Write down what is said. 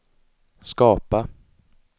skapa